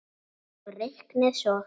Og reiknið svo.